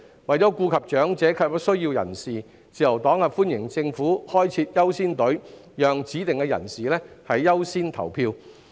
為顧及長者及有需要人士，自由黨歡迎政府開設"優先隊伍"，讓指定人士優先投票。